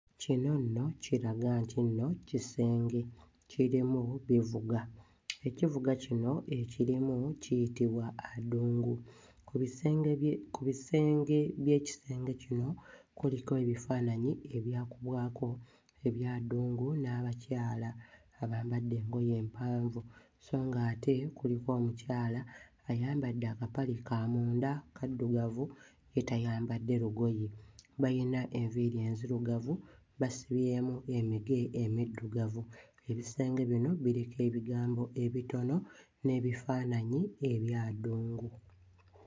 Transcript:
Kino nno kiraga nti nno kisenge, kirimu bivuga, ekivuga kino ekirimu kiyitibwa adungu. Ku bisenge bye ku bisenge by'ekisenge kino kuliko ebifaananyi ebyakubwako eby'adungu n'abakyala abambadde engoye empanvu sso ng'ate kuliko omukyala ayambadde akapale ka munda kaddugavu ye tayambadde lugoye, bayina enviiri nzirugavu basibye emige emiddugavu, ebisenge bino biriko ebigambo ebitono n'ebifaananyi eby'adungu.